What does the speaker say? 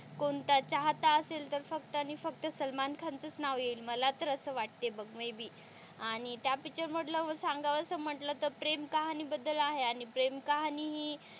कोणता चाहता असेल तर फक्त आणि फक्त सलमान खानच च नाव येईल मला तर असं वाटत बघ मे बी आणि त्या पिक्चर मधलं सांगावस म्हणलं तर प्रेम कहाणी बद्दल आहे आणि प्रेम कहाणी हि,